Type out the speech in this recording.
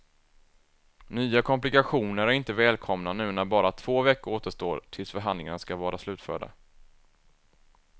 Nya komplikationer är inte välkomna nu när bara två veckor återstår tills förhandlingarna ska vara slutförda.